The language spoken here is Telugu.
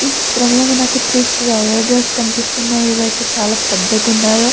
ఈ చిత్రం లో మనకి త్రి స్లయిడర్స్ కనిపిస్తున్నాయి అవైతే ఎంత పెద్దగా ఉన్నాయో.